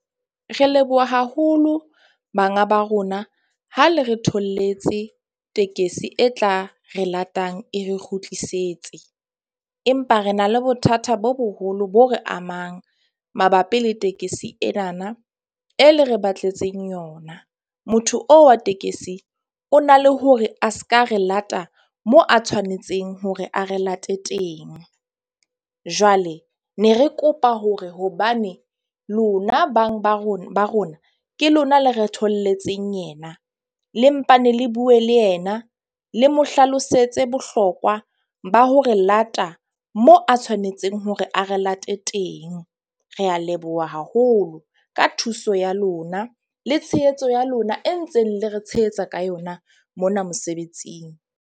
Re leboha haholo banga ba rona ha le re tholletse tekesi e tla re latang e re kgutlisetse. Empa re na le bothata bo boholo bo re amang mabapi le tekesi enana e le re batletseng yona. Motho oo wa tekesi o na le hore a ska re lata moo a tshwanetseng hore a re late teng. Jwale ne re kopa hore hobane lona bang ba rona , ke lona le re tholletseng yena, le mpane le bue le yena le mo hlalosetse bohlokwa ba ho re lata moo a tshwanetseng hore a re late teng. Re a leboha haholo ka thuso ya lona le tshehetso ya lona e ntseng le re tshehetsa ka yona mona mosebetsing.